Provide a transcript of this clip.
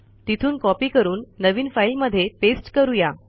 तिथून कॉपी करून नवीन फाईल मध्ये पेस्ट करू या